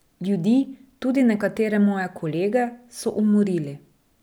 Ljudi, tudi nekatere moje kolege, so umorili.